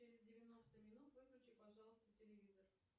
через девяносто минут выключи пожалуйста телевизор